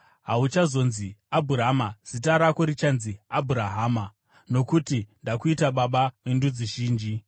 Hauchazonzi Abhurama; zita rako richanzi Abhurahama nokuti ndakuita baba vendudzi zhinji.